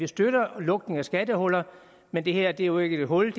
støtter lukning af skattehuller men det her er jo ikke et hul